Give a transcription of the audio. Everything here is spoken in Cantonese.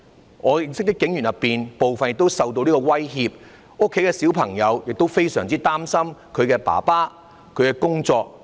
在我認識的警員當中，部分亦受到這個威脅，他們家裏的孩子亦非常擔心自己父親的工作。